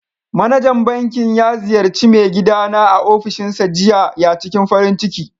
Manajan bankin ya ziyarci mai gida na a ofishinsa jiya. ya ciking farin ciki.